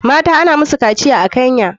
Mata ana musu kaciya a kenya